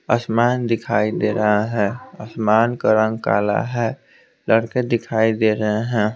आसमान दिखाई दे रहा है आसमान का रंग काला है लड़के दिखाई दे रहे हैं।